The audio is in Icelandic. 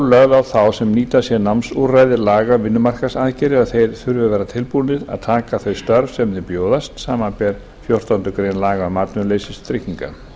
lögð á þá sem nýta sér námsúrræði laga um vinnumarkaðsaðgerðir að þeir þurfi að vera tilbúnir að taka þau störf sem þeim bjóðast samanber fjórtándu grein laga um atvinnuleysistryggingar